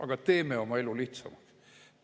Aga teeme oma elu lihtsamaks.